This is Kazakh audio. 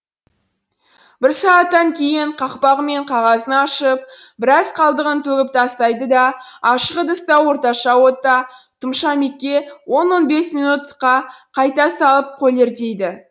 бір сағаттан кейін қақпағы мен қағазын ашып бірәз қалдығын төгіп тастайды да ашық ыдыста орташа отта тұмша он он бес минутқа қайта салып колерлейді